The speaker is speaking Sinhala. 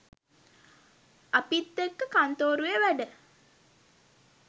අපිත්තෙක්ක කන්තෝරුවේ වැඩ